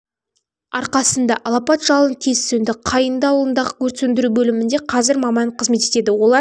арқасында алапат жалын тез сөнді қайыңды ауылындағы өрт сөндіру бөлімінде қазір маман қызмет етеді олар